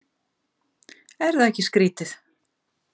Er það ekki skrítið?